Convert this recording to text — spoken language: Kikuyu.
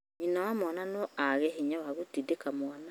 nyina wa mwana no aage hinya wa gũtindĩka mwana,